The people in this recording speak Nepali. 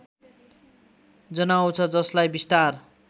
जनाउँछ जसलाई बिस्तार